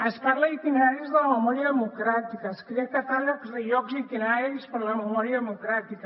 es parla d’itineraris de la memòria democràtica es creen catàlegs de llocs i itineraris per a la memòria democràtica